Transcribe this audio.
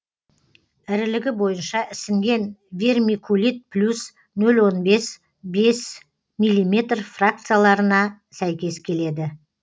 ірілігі бойынша ісінген вермикулит плюс нөл он бес бес миллиметр фракцияларына сәйкес келеді